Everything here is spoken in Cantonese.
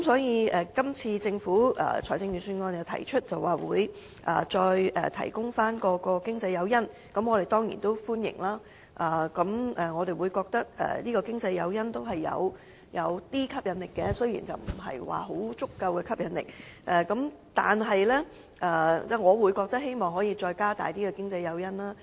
因此，政府在今次財政預算案提到會再次提供經濟誘因，我們當然歡迎，因為經濟誘因是有吸引力的，雖然不是相當足夠，但我希望政府可以增加經濟誘因。